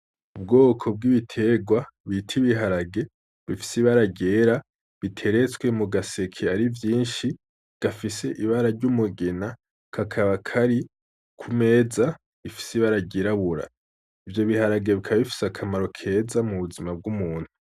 Ubwoko bw'ibiterwa bita ibiharage bifise ibara ryera biteretswe mu gaseke ari vyinshi gafise ibara ry'umugina kakaba kari ku meza ifise ibara ryirabura, ivyo biharage bikaba bifise akamaro keza mu buzima bw'umuntu.